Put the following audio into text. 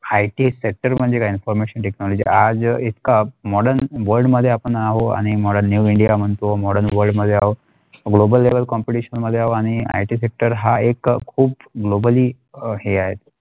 IT sector म्हणजे काय informationTechnology आज इतका Modern World मध्ये आपण आहोत आणि Modern new India म्हणतो Modern World मध्ये आहोत Global level competition आहोत आणि IT sector ह्या एक खूप Globally अ हे आहे.